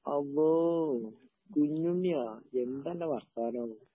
അള്ളോ! കുഞ്ഞുണ്ണിയാ. എന്താണ്ടാ വർത്താനം?